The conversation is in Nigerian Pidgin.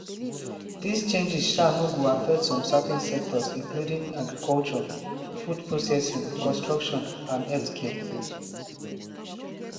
dis changes sha no go affect some certain sectors including agriculture food processing construction and healthcare.